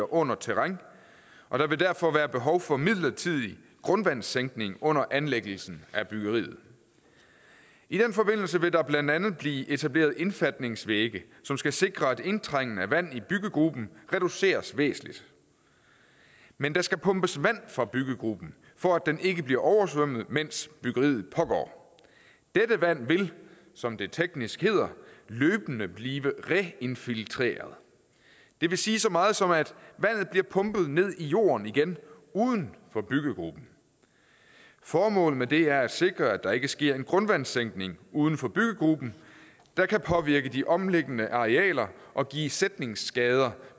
under terræn og der vil derfor være behov for en midlertidig grundvandssænkning under anlæggelsen af byggeriet i den forbindelse vil der blandt andet blive etableret indfatningsvægge som skal sikre at indtrængende vand i byggegruben reduceres væsentligt men der skal pumpes vand fra byggegruben for at den ikke bliver oversvømmet mens byggeriet pågår dette vand vil som det teknisk hedder løbende blive reinfiltreret det vil sige så meget som at vandet bliver pumpet ned i jorden igen uden for byggegruben formålet med det er at sikre at der ikke sker en grundvandssænkning uden for byggegruben der kan påvirke de omliggende arealer og give sætningsskader